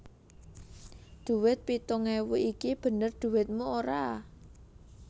Dhuwit pitung ewu iki bener dhuwitmu ora